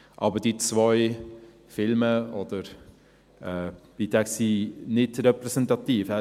Aber diese zwei Filme oder Beiträge sind nicht repräsentativ.